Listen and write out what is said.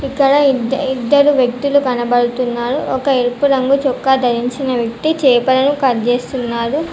ఇక్కడ ఇంతే ఇద్దరు వ్యక్తులు కనబడుతున్నారు ఒక ఎరుపు రంగు చొక్కా ధరించిన వ్యక్తి చేపలను కట్ చేస్తున్నారు.